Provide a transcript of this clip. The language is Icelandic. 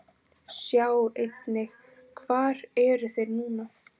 Sjá einnig: Hvar eru þeir núna?